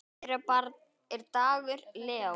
Þeirra barn er Dagur Leó.